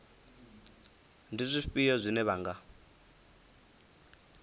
ndi zwifhio zwine vha nga